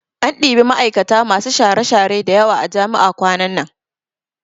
An ɗibi ma'aikata masu share-share da yawa a jami'a kwanan nan